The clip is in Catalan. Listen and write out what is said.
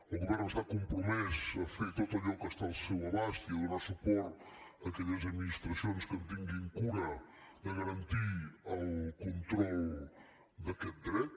el govern està compromès a fer tot allò que està al seu abast i a donar suport a aquelles administracions que en tinguin cura de garantir el control d’aquest dret